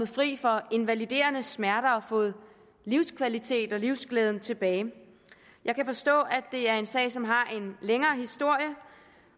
fri for invaliderende smerter og har fået livskvalitet og livsglæde tilbage jeg kan forstå at det er en sag som har en længere historie